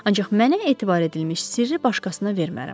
Ancaq mənə etibar edilmiş sirri başqasına vermərəm.